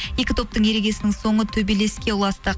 екі топтың ерегісінің соңы төбелеске ұласты